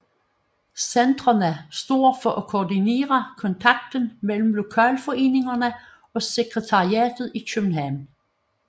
Centrene står for at koordinere kontakten mellem lokalforeningerne og sekretariatet i København